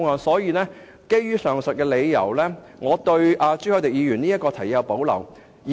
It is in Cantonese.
所以，基於上述理由，我對朱凱廸議員提出的這項議案有所保留。